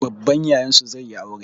Babban Yayansu zai yi aure.